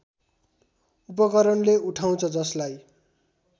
उपकरणले उठाउँछ जसलाई